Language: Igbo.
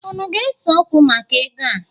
Unu ga-eseokwu maka ego a?